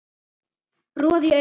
roði í augum